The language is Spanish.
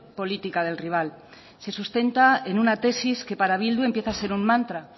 política del rival se sustenta en una tesis que para bildu empieza a ser un mantra